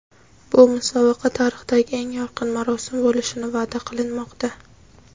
Bu musobaqa tarixidagi eng yorqin marosim bo‘lishini va’da qilinmoqda.